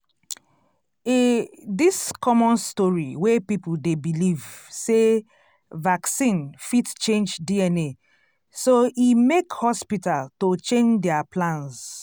e this common story wey people dey believe sey vaccine fit change dna so emake hospital to chandeir plans.